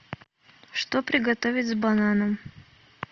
что приготовить с бананом